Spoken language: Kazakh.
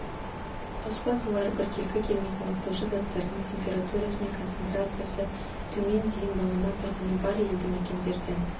тоспа сулары біркелкі келмейтін ластаушы заттарының температурасы мен концентрациясы төмен дейін балама тұрғыны бар елді мекендерден